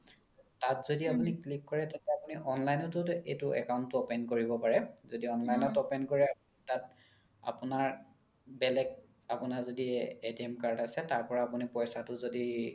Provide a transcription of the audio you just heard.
তাত যদি আপোনি click কৰে তেতিয়া আপোনি online তও এইটো account তো open কৰিব পাৰে যদি online ত open কৰে তাত আপোনাৰ বেলেগ আপোনাৰ যদি card আছে তাৰ পৰা আপোনি পইচাতো যদি